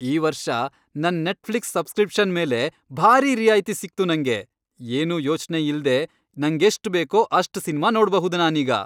ಈ ವರ್ಷ ನನ್ ನೆಟ್ಫ್ಲಿಕ್ಸ್ ಸಬ್ಸ್ಕ್ರಿಪ್ಷನ್ ಮೇಲೆ ಭಾರೀ ರಿಯಾಯ್ತಿ ಸಿಕ್ತು ನಂಗೆ. ಏನೂ ಯೋಚ್ನೆ ಇಲ್ದೇ ನಂಗೆಷ್ಟ್ ಬೇಕೋ ಅಷ್ಟ್ ಸಿನ್ಮಾ ನೋಡ್ಬಹುದು ನಾನೀಗ.